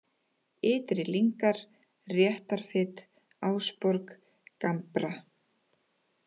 Ytri-Lyngar, Réttarfit, Ásborg, Gambra